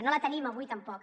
no la tenim avui tampoc